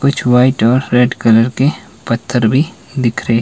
कुछ व्हाइट और red colour के पत्थर भी दिखरे--